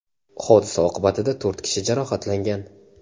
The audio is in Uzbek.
Hodisa oqibatida to‘rt kishi jarohatlangan.